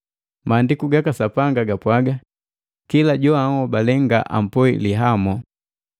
Maandiku gaka Sapanga gapwaga, “Kila joanhobale nga ampoi lihamo.”